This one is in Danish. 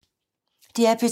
DR P2